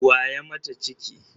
Wa ya mata ciki?